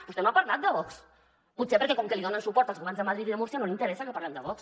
vostè no ha parlat de vox potser perquè com que li donen suport als governs de madrid i de múrcia no li interessa que parlem de vox